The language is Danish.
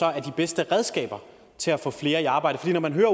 er de bedste redskaber til at få flere i arbejde for når man hører